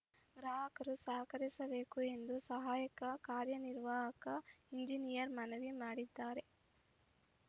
ಗ್ರಾಹಕರು ಸಹಕರಿಸಬೇಕು ಎಂದು ಸಹಾಯಕ ಕಾರ್ಯನಿರ್ವಾಹಕ ಇಂಜಿನಿಯರ್ ಮನವಿ ಮಾಡಿದ್ದಾರೆ